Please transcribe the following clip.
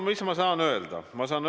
Mis ma saan öelda?